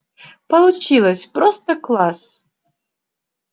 получилось просто класс